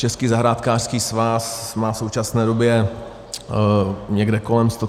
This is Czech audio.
Český zahrádkářský svaz má v současné době někde kolem 130 tisíc členů.